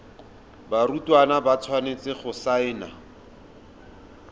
barutwana ba tshwanetse go saena